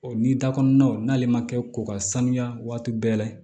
O ni da kɔnɔnaw n'ale ma kɛ ko ka sanuya waati bɛɛ